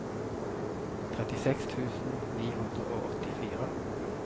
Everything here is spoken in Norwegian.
trettiseks tusen ni hundre og åttifire